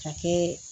Ka kɛ